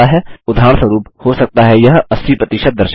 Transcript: उदाहरणस्वरुप हो सकता है यह 80 प्रतिशत दर्शाए